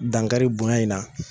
Dankari bonya in na.